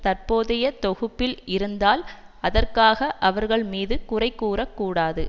தற்போதைய தொகுப்பில் இருந்தால் அதற்காக அவர்கள் மீது குறைகூறக்கூடாது